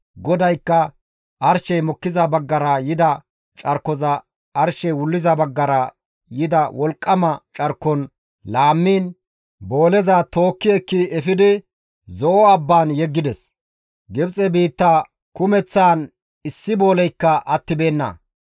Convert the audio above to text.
GODAYKKA arshey mokkiza baggara yida carkoza arshey wulliza baggara yida wolqqama carkon laammiin booleza tookki ekki efidi, Zo7o abbaan yeggides. Gibxe biitta kumeththaan issi booleykka attibeenna.